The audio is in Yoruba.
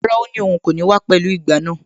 Rárá, ó ní òun kò ní wá pẹ̀lú ìgbá náà.